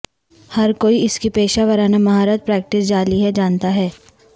ہر کوئی اس کی پیشہ ورانہ مہارت پریکٹس جعلی ہے جانتا ہے